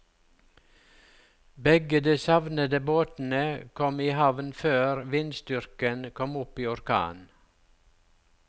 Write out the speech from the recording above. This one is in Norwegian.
Begge de savnede båtene kom i havn før vindstyrken kom opp i orkan.